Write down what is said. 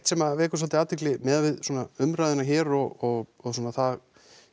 sem að vekur svolítið athygli miðað við svona umræðuna hér og svona það